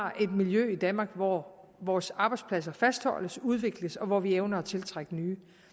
har et miljø i danmark hvor vores arbejdspladser fastholdes udvikles og hvor vi evner at tiltrække nye